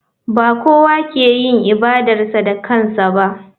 Ba kowa ke yin ibadarsa da kansa ba.